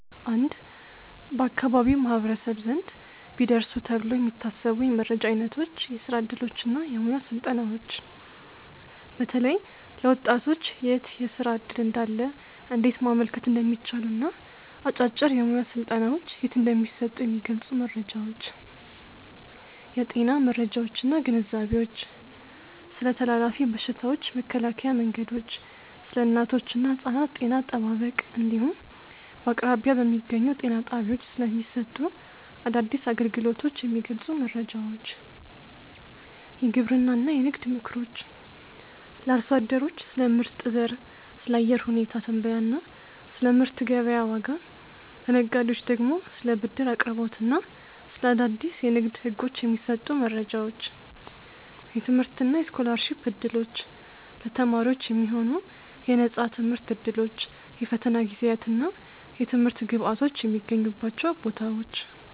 1. በአካባቢው ማኅበረሰብ ዘንድ ቢደርሱ ተብለው የሚታሰቡ የመረጃ ዓይነቶች የሥራ ዕድሎችና የሙያ ሥልጠናዎች፦ በተለይ ለወጣቶች የት የሥራ ዕድል እንዳለ፣ እንዴት ማመልከት እንደሚቻልና አጫጭር የሙያ ሥልጠናዎች የት እንደሚሰጡ የሚገልጹ መረጃዎች። የጤና መረጃዎችና ግንዛቤዎች፦ ስለ ተላላፊ በሽታዎች መከላከያ መንገዶች፣ ስለ እናቶችና ሕፃናት ጤና አጠባበቅ እንዲሁም በአቅራቢያ በሚገኙ ጤና ጣቢያዎች ስለሚሰጡ አዳዲስ አገልግሎቶች የሚገልጹ መረጃዎች። የግብርናና የንግድ ምክሮች፦ ለአርሶ አደሮች ስለ ምርጥ ዘር፣ ስለ አየር ሁኔታ ትንበያና ስለ ምርት ገበያ ዋጋ፤ ለነጋዴዎች ደግሞ ስለ ብድር አቅርቦትና ስለ አዳዲስ የንግድ ሕጎች የሚሰጡ መረጃዎች። የትምህርትና የስኮላርሺፕ ዕድሎች፦ ለተማሪዎች የሚሆኑ የነፃ ትምህርት ዕድሎች፣ የፈተና ጊዜያትና የትምህርት ግብዓቶች የሚገኙባቸው ቦታዎች።